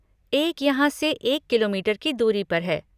एक यहाँ से एक किलोमीटर की दूरी पर है।